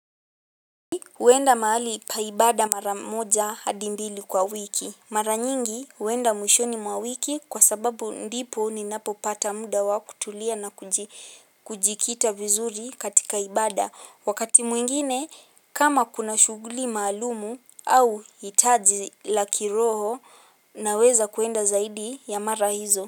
Huenda mahali pa ibada mara moja hadi mbili kwa wiki. Mara nyingi huenda mwishoni mwa wiki kwa sababu ndipo ninapopata muda wa kutulia na kujikita vizuri katika ibada. Wakati mwingine kama kuna shuguli maalumu au hitaji la kiroho naweza kuenda zaidi ya mara hizo.